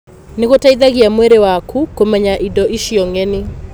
Nĩ gũteithagia mwĩrĩ waku kũmenya indo icio ng'eni.